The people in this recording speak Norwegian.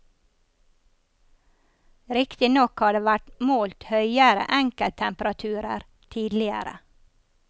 Riktignok har det vært målt høyere enkelttemperaturer tidligere.